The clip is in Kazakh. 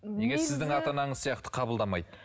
неге сіздің ата анаңыз сияқты қабылдамайды